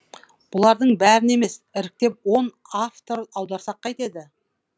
бұлардың бәрін емес іріктеп он автор аударсақ қайтеді